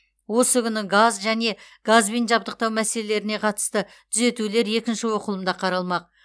осы күні газ және газбен жабдықтау мәселелеріне қатысты түзетулер екінші оқылымда қаралмақ